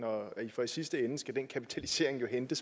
og i sidste ende skal den kapitalisering jo hentes